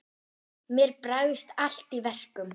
Mér bregst allt í verkum.